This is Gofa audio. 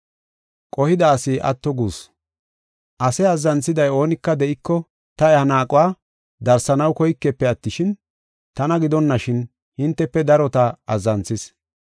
Ase azzanthida oonika de7iko ta iya naaquwa darsanaw koyikefe attishin, tana gidonashin, hintefe darota azzanthis.